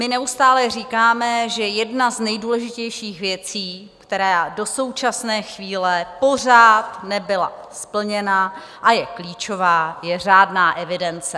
My neustále říkáme, že jedna z nejdůležitějších věcí, která do současné chvíle pořád nebyla splněna a je klíčová, je řádná evidence.